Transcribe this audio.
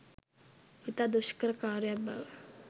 ඉතා දුෂ්කර කාර්යයක් බව